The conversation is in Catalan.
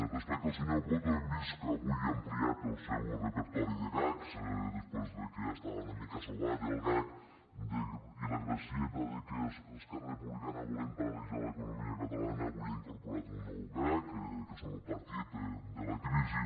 respecte al senyor coto hem vist que avui ha am pliat el seu repertori de gags després que ja estava una mica sobat el gag i la gracieta que esquerra republicana volem paralitzar l’economia catalana avui ha incorporat un nou gag que és el nou partit de la crisi